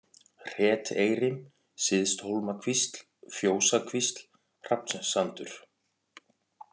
Hreteyri, Syðsthólmakvísl, Fjósakvísl, Hrafnssandur